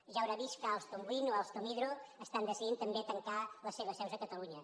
ja deu haver vist que alstom wind o alstom hydro estan decidint també tancar les seves seus a catalunya